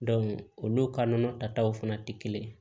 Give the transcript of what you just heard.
olu ka nɔnɔ taw fana tɛ kelen ye